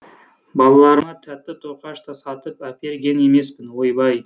балаларыма тәтті тоқаш та сатып әперген емеспін ойбай